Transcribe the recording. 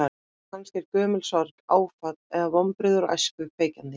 Kannski er gömul sorg, áfall eða vonbrigði úr æsku kveikjan þín?